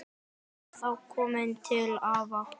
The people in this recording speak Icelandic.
Ertu þá kominn til afa?